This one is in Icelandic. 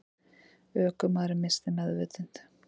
Ökumaðurinn missti meðvitund